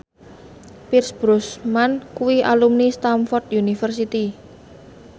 Pierce Brosnan kuwi alumni Stamford University